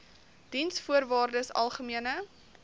diensvoorwaardesalgemene